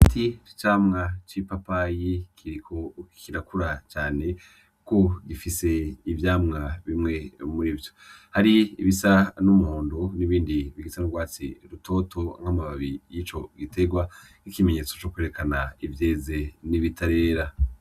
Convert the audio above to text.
Igiti c'icamwa c'ipapayi Kiriko kirakura cane kuko gifise ivyamwa bimwe murivyo hari ibisa n' umuhondo n' ibindi bisa n' ugwatsi rutoto n' amababi yico gitegwa n' ikimenyetso cukwerekana ivyeze n' ibitarera.